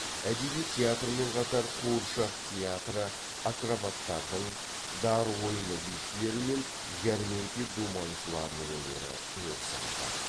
әдеби театрмен қатар қуыршақ театры акробаттардың дар ойыны бишілері мен жәрмеңке думаншыларының өнері өріс алды